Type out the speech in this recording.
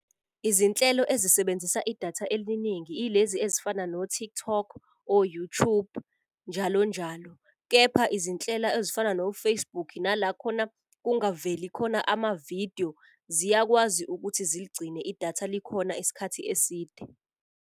Izinhlelo ezisebenzisa idatha eliningi ilezi ezifana no-TikTok, o-YouTube njalo njalo. Kepha izinhlelo ezifana no-Facebook, nala khona kungaveli khona ama-video ziyakwazi ukuthi ziligcine idatha likhona isikhathi eside.